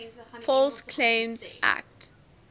false claims act